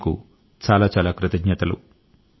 మీకు చాలా చాలా కృతజ్ఞతలు